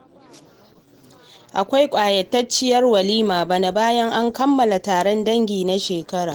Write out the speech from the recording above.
Akwai ƙayatacciyar walima bana, bayan an kammala taron dangi na shekara.